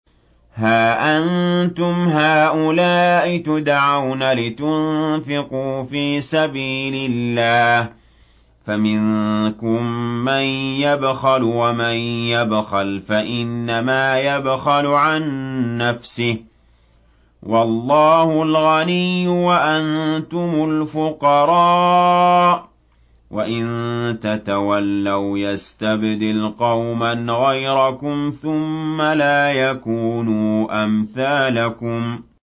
هَا أَنتُمْ هَٰؤُلَاءِ تُدْعَوْنَ لِتُنفِقُوا فِي سَبِيلِ اللَّهِ فَمِنكُم مَّن يَبْخَلُ ۖ وَمَن يَبْخَلْ فَإِنَّمَا يَبْخَلُ عَن نَّفْسِهِ ۚ وَاللَّهُ الْغَنِيُّ وَأَنتُمُ الْفُقَرَاءُ ۚ وَإِن تَتَوَلَّوْا يَسْتَبْدِلْ قَوْمًا غَيْرَكُمْ ثُمَّ لَا يَكُونُوا أَمْثَالَكُم